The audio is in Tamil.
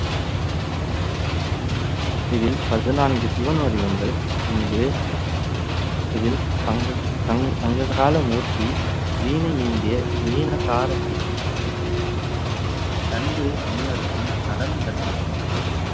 இதில் பதினான்கு சிவன் வடிவங்கள் இங்கு இதில் சங்க~ சங்~ சங்ககால மூர்த்தி வீணை ஏந்திய வீன கார சிவன் தந்து முனிவருக்கும் நடனம் கற்பிக்கும் சிவன்